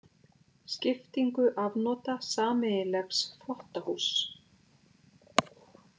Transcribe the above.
Skiptingu afnota sameiginlegs þvottahúss.